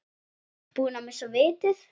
Búin að missa vitið?